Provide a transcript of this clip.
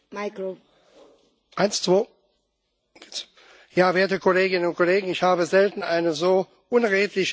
Frau Präsidentin, werte Kolleginnen und Kollegen! Ich habe selten eine so unredliche Debatte erlebt wie hier.